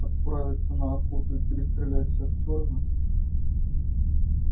отправиться на охоту и перестрелять всех чёрных